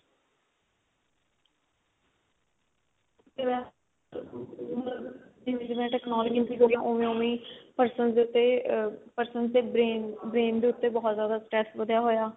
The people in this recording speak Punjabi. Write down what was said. ਜਿਵੇਂ ਮਤਲਬ ਜਿਵੇਂ ਜਿਵੇਂ technology increase ਹੋ ਰਹੀ ਹੈ ਉਵੇਂ ਉਵੇਂ ਹੀ persons ਦੇ persons ਦੇ brain brain ਦੇ ਉੱਤੇ ਬਹੁਤ ਜਿਆਦਾ stress ਵਧਿਆ ਹੋਇਆ